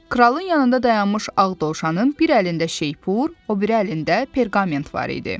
Kralın yanında dayanmış ağ dovşanın bir əlində şeypur, o biri əlində perqament var idi.